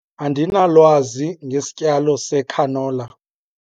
Andinalwazi ngesityalo secanola.